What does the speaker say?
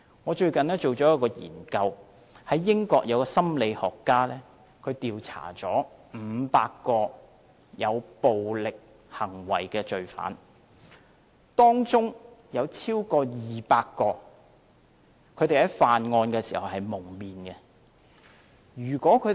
我最近知悉一項研究，英國有一位心理學家調查了500名有暴力行為的罪犯，當中有超過200名在犯案時是蒙面的。